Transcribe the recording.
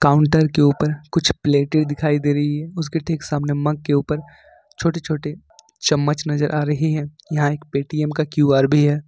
Counter के ऊपर कुछ प्लेटें दिखाई दे रही है उसके ठीक सामने मग के ऊपर छोटे छोटे चम्मच नजर आ रहे हैं यहां एक पेटीएम का क्यू_आर भी है।